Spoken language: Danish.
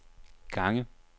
gange